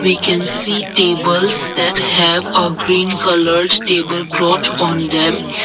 we can see tables that have a green coloured table cloth on them.